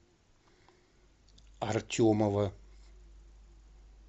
артемова